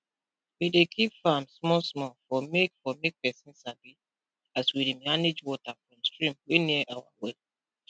we dey keep farm small small for make for make pesin sabi as we dey manage water from stream wey near our well